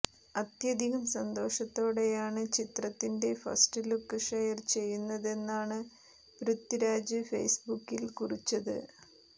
അത്യധികം സന്തോഷത്തോടെയാണ് ചിത്രത്തിന്റെ ഫസ്റ്റ്ലുക്ക് ഷെയർ ചെയ്യുന്നതെന്നാണ് പൃഥ്വിരാജ് ഫേസ്ബുക്കിൽ കുറിച്ചത്